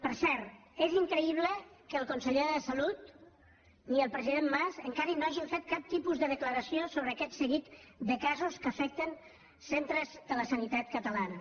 per cert és increïble que ni el conseller de salut ni el president mas encara no hagin fet cap tipus de declaració sobre aquest seguit de casos que afecten centres de la sanitat catalana